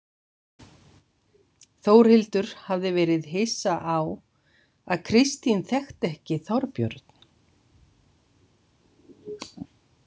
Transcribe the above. Þórhildur hafði verið hissa á að Kristín þekkti ekki Þorbjörn.